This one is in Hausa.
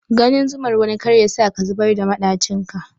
Ganin zumar wani kar yasa ka zubar da maɗacin ka.